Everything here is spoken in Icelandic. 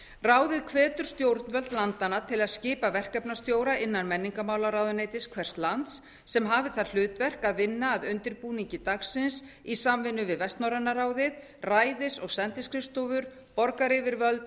ráðið hvetur stjórnvöld landanna til að skipa verkefnastjóra innan menningarmálaráðuneytis hvers lands sem hafi það hlutverk að vinna að undirbúningi dagsins í samvinnu við vestnorræna ráðið ræðis og sendiskrifstofur borgaryfirvöld